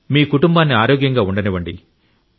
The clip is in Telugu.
మీ కుటుంబాన్ని ఆరోగ్యంగా ఉండనివ్వండి